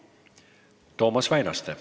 Toomas Väinaste.